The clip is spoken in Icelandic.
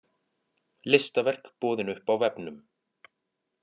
Listaverk boðin upp á vefnum